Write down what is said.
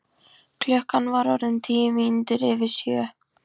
Klukkan var orðin tíu mínútur yfir sjö.